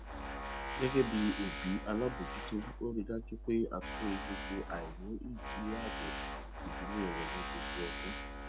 gẹgẹ bí òbí alábojútó ó rí dájú pé a tún wo gbogbo aini ìníàbò ìdílé rẹ ní gbogbo ọdún